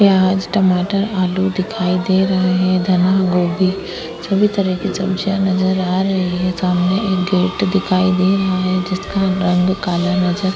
प्याज टमाटर आलू दिखाई दे रहे है धनी गोभी सभी तरह की सब्जिया नजर आ रही है सामने एक गेट दिखाई दे रहा है जिसका रंग काला नजर --